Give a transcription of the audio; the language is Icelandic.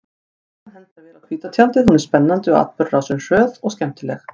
Sagan hentar vel á hvíta tjaldið, hún er spennandi og atburðarásin er hröð og skemmtileg.